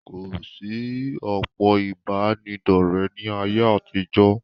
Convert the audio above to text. kò sí òpó ìbánidọ́rẹ̀ ní ayé àtijọ́.